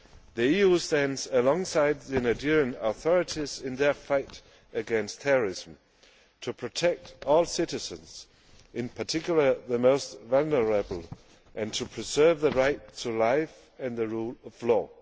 The EU stands alongside the Nigerian authorities in their fight against terrorism, to protect all citizens, in particular the most vulnerable, and to preserve the right to life and the rule of law.